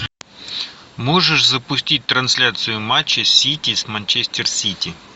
можешь запустить трансляцию матча сити с манчестер сити